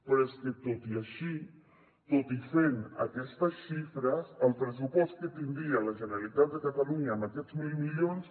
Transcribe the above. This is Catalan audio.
però és que tot i així tot i fent aquestes xifres el pressupost que tindria la generalitat de catalunya amb aquests mil milions